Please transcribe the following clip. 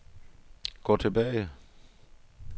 gå tilbage